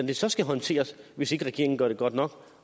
det så skal håndteres hvis ikke regeringen gør det godt nok